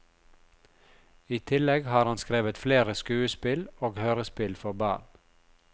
I tillegg har han skrevet flere skuespill og hørespill for barn.